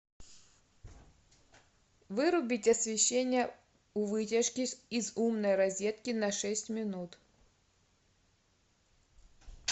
вырубить освещение у вытяжки из умной розетки на шесть минут